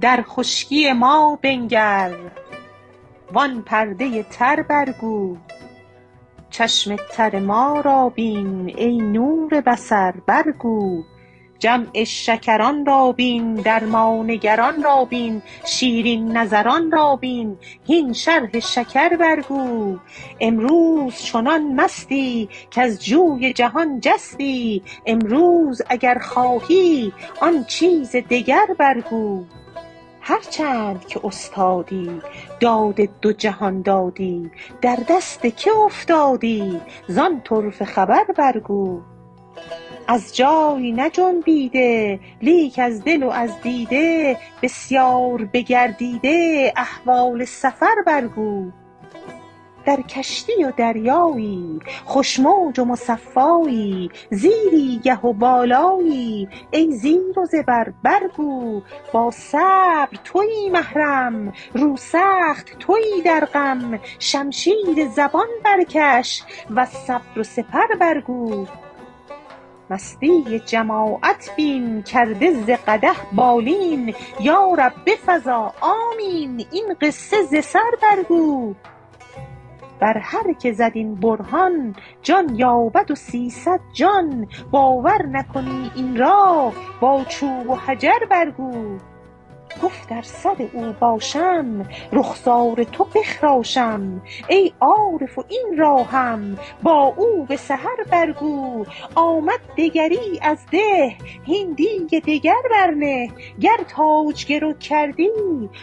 در خشکی ما بنگر وآن پرده تر برگو چشم تر ما را بین ای نور بصر برگو جمع شکران را بین در ما نگران را بین شیرین نظران را بین هین شرح شکر برگو امروز چنان مستی کز جوی جهان جستی امروز اگر خواهی آن چیز دگر برگو هر چند که استادی داد دو جهان دادی در دست که افتادی زان طرفه خبر برگو از جای نجنبیده لیک از دل و از دیده بسیار بگردیده احوال سفر برگو در کشتی و دریایی خوش موج و مصفایی زیری گه و بالایی ای زیر و زبر برگو با صبر تویی محرم روسخت تویی در غم شمشیر زبان برکش وز صبر و سپر برگو مستی جماعت بین کرده ز قدح بالین یا رب بفزا آمین این قصه ز سر برگو بر هر که زد این برهان جان یابد و سیصد جان باور نکنی این را بر چوب و حجر برگو گفت ار سر او باشم رخسار تو بخراشم ای عارف این را هم با او به سحر برگو آمد دگری از ده هین دیگ دگر برنه گر تاج گرو کردی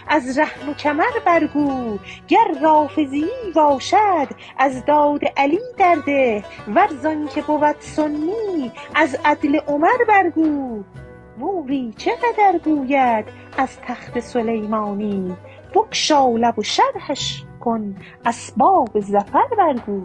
از رهن کمر برگو گر رافضیی باشد از داد علی در ده ور زآنک بود سنی از عدل عمر برگو موری چه قدر گوید از تخت سلیمانی بگشا لب و شرحش کن اسباب ظفر برگو